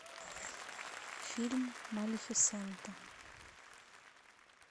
фильм малефисента